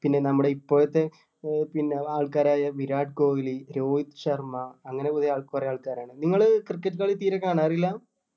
പിന്നെ നമ്മുടെ ഇപ്പോഴത്തെ ആഹ് പിന്നെ ആൾക്കാരായ വിരാട് കോഹ്‍ലി, രോഹിത് ശർമ്മ അങ്ങനെ കൊറേ ആൾക്കാരാണ് നിങ്ങള് cricket കളി തീരെ കാണാറില്ല?